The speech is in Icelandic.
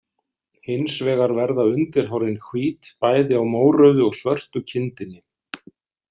Hins vegar verða undirhárin hvít bæði á mórauðu og svörtu kindinni.